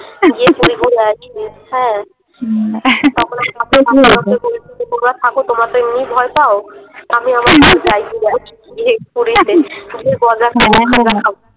পুরী ঘুরে আসবি হ্যাঁ তো কি হয়েছে? তোমরা থাকো তোমরা তো এমনিতেও ভয় পাও আমি। সাথে যাই ঘুরে আসি গিয়ে পুরীতে।